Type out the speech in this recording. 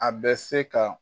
A bɛ se ka